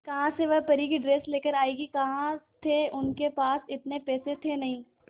कहां से वह परी की ड्रेस लेकर आएगी कहां थे उनके पास इतने पैसे थे नही